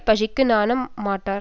பழிக்கு நாண மாட்டார்